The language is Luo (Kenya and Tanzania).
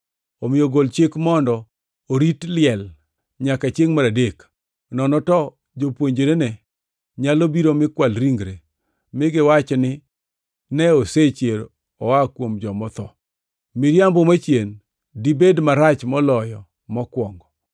Omiyo gol chik mondo orit liel nyaka chiengʼ mar adek. Nono to jopuonjrene nyalo biro mi kwal ringre mi giwach ne ji ni osechier oa kuom joma otho. Miriambo machien-ni dibed marach moloyo mokwongo.”